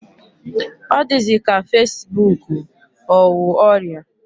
Ọ dịzị ka fasibuuku ọ wụ ọrịa.